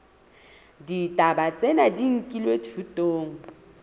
ditaba tsena di nkilwe thutong